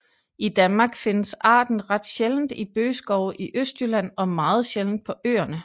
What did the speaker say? I Danmark findes arten ret sjældent i bøgeskove i Østjylland og meget sjældent på Øerne